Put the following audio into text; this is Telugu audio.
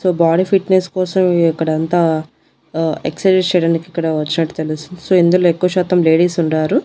సో బాడీ ఫిట్నెస్ కోసం ఇక్కడ అంతా ఆ ఎక్సర్సైజెస్ చేయడానికి ఇక్కడ వచ్చినట్టు తెలుస్తుంది సో ఇందులో ఎక్కువ శాతం లేడీస్ ఉండారు.